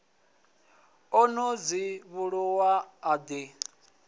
o ḓo dzivhuluwa a ḓi